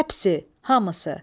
Həpsi, hamısı.